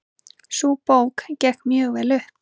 Sú bók gekk mjög vel upp.